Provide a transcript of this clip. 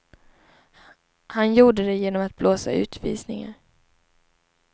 Han gjorde det genom att blåsa utvisningar.